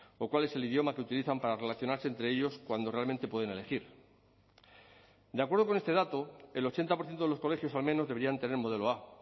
o cuál es el idioma que utilizan para relacionarse entre ellos cuando realmente pueden elegir de acuerdo con este dato el ochenta por ciento de los colegios al menos deberían tener modelo a